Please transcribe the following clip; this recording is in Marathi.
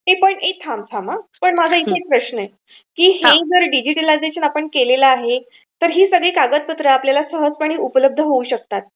ए पण थांब हा, माझा इथे एक प्रश्न आहे की हे जे डिजिटलायझेशन आपण केलेलं आहे तर ही कागदपत्र सहजपणे आपल्याला उपलब्ध होऊ शकतात.